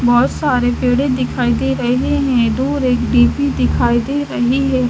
बहोत सारे पेड़े दिखाई रहे है दूर एक डेपी दिखाई दे रही है।